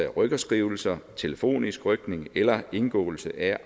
rykkerskrivelser telefonisk rykning eller indgåelse af